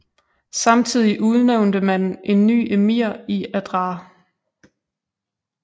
Samtidig udnævnte man en ny emir i Adrar